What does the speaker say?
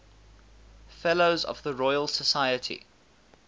fellows of the royal society